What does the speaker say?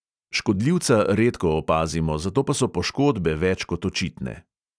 Škodljivca redko opazimo, zato pa so poškodbe več kot očitne.